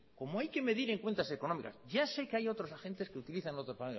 como hay que medir en cuentas económicas ya sé que hay otros agentes que utilizan otros